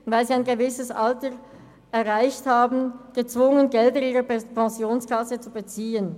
Oder sie sind gezwungen, Gelder ihrer Pensionskasse zu beziehen, weil sie ein gewisses Alter erreicht haben.